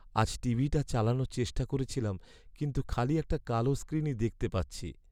আজ টিভিটা চালানোর চেষ্টা করেছিলাম, কিন্তু খালি একটা কালো স্ক্রিনই দেখতে পাচ্ছি।